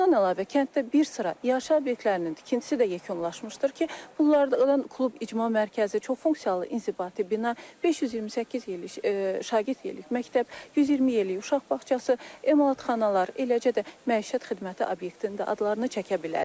Bundan əlavə kənddə bir sıra yaşayış obyektlərinin tikintisi də yekunlaşmışdır ki, bunlardan klub, icma mərkəzi, çoxfunksiyalı inzibati bina, 528 şagird yerlik məktəb, 120 yerlik uşaq bağçası, emalatxanalar, eləcə də məişət xidməti obyektinin adlarını çəkə bilərik.